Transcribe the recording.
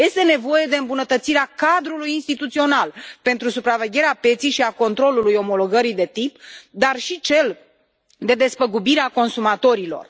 Este nevoie de îmbunătățirea cadrului instituțional pentru supravegherea pieței și a controlului omologării de tip, dar și a celui de despăgubire a consumatorilor.